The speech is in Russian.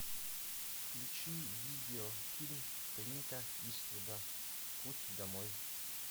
включи видео фильм клинта иствуда путь домой